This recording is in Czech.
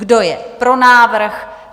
Kdo je pro návrh?